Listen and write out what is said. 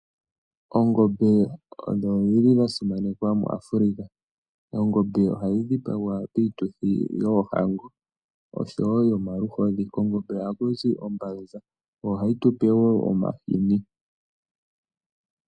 Oongombe odho dhi li dha simanekwa muAfrica. Oongombe ohadhi dhipagwa piituthi yoohango osho wo yomaluhodhi. Kongombe ohaku zi ombanza. Yo ohayi tu pe wo omahini.